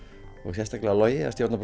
sérstaklega Logi að stjórna